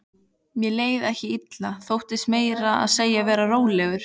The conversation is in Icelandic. Mér leið ekki illa, þóttist meira að segja vera rólegur.